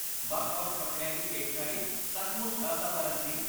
ਵੱਖ ਵੱਖ ਕੱਪੜਿਆਂ ਦੀ ਪੇਸ਼ਕਾਰੀ ਸੱਚਮੁੱਚ ਅਸਾਧਾਰਨ ਸੀ